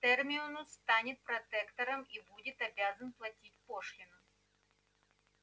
терминус станет протектором и будет обязан платить пошлину